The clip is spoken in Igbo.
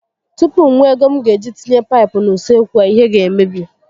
Tupu m nwee ego m ga eji tinye paịpụ n'usekwu a, ihe ga emebi